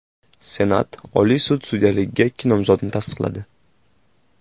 Senat Oliy sud sudyaligiga ikki nomzodni tasdiqladi.